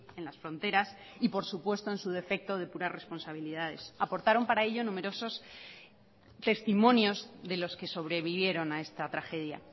en las fronteras y por supuesto en su defecto depurar responsabilidades aportaron para ello numerosos testimonios de los que sobrevivieron a esta tragedia